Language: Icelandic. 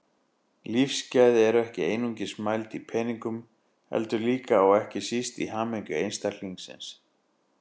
Lífsgæði eru ekki einungis mæld í peningum heldur líka, og ekki síst, í hamingju einstaklingsins.